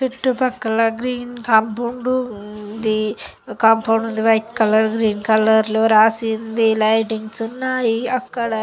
చుట్టుపక్కల green compound ఉంది. Compound white colour green colour లో రాసి ఉంది. లైటింగ్స్ ఉన్నాయి అక్కడ.